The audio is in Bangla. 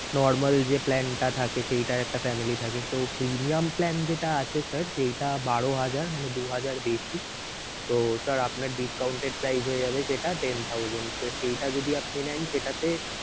normal যে plan টা থাকে সেইটার একটা family থাকে so premium plan যেটা আছে sir সেইটা বারো হাজার মানে দু হাজার বেশি so sir আপনার discounted price হয়ে যাবে সেটা ten thousand so সেইটা যদি আপনি নেন সেটাতে